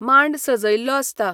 मांड सजयल्लो आसता